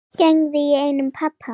Gæðingi í eigu pabba.